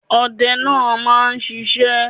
Ọdẹ náà máa ń sisé